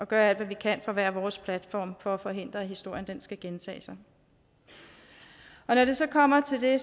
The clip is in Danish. gøre alt hvad vi kan fra hver vores platform for at forhindre at historien skal gentage sig når det så kommer til det